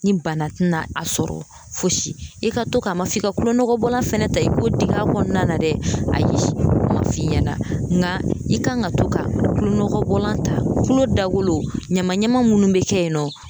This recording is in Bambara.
Ni bana tɛna a sɔrɔ fosi i ka to ka ma, a ma f'i ka kulon nɔgɔ bɔla fɛnɛ ta i ko digi a kɔnɔna na dɛ, ayi ma f'i ɲɛna, n ka i kan ka to ka kulon nɔgɔ bɔlan ta kulo dagolo ɲama ɲama munnu be kɛ yen nɔ